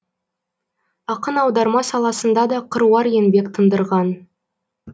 ақын аударма саласында да қыруар еңбек тындырған